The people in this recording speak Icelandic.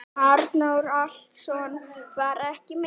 Arnór Atlason var ekki með.